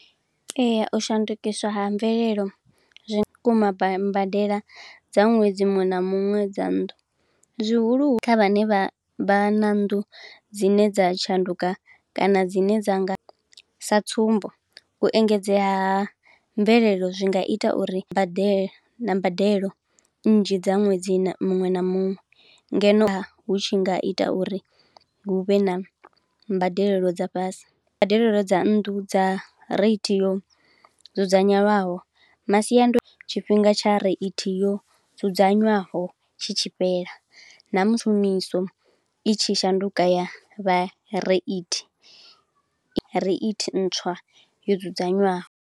Ee, u shandukiswa ha mvelelo, zwi mbadela dza ṅwedzi muṅwe na muṅwe dza nnḓu. Zwihulu kha vhane vha vha na nnḓu dzine dza tshanduka kana dzine dza nga, sa tsumbo u engedzea ha mvelelo zwi nga ita uri mbadelo na mbadelo nnzhi dza ṅwedzi muṅwe na muṅwe, ngeno hu tshi nga ita uri huvhe na mbadelelo dza fhasi. Mbadelelo dza nnḓu dza raithi yo dzudzanyelwaho masiando tshifhinga tsha reithi yo dzudzanywaho tshi tshi fhela, na musi miso itshi shanduka ya vha reithi, ya vha reithi ntswa yo dzudzanywaho.